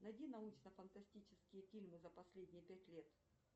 найди научно фантастические фильмы за последние пять лет